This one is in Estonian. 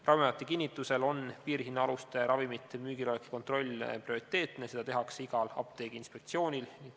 Ravimiameti kinnitusel on piirhinnaaluste ravimite müügiloleku kontroll prioriteetne, seda tehakse igal apteegiinspektsioonil.